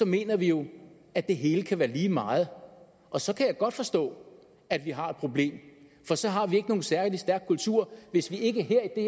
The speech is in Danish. mener vi jo at det hele kan være lige meget og så kan jeg godt forstå at vi har et problem for så har vi ikke nogen særlig stærk kultur hvis vi ikke her i